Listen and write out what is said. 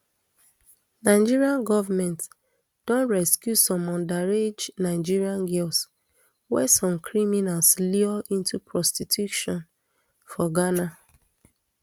nigeria goment don rescue some underage nigerian girls wey some criminals lure into prostitution for ghana